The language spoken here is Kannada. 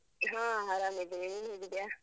ಹಾ, ಆರಾಮಿದ್ದೇವೆ. ನೀನು ಹೇಗಿದ್ಯಾ?